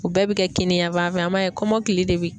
U bɛɛ bi kɛ kini yanfan fɛ, an b'a ye kɔmɔkili de bi